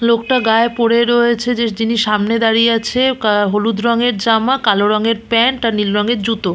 লোকটা গায়ে পরে রয়েছে যে যিনি সামনে দাঁড়িয়ে আছে আহ হলুদ রঙের জামা কালো রঙের প্যান্ট আর নীল রঙের জুতো।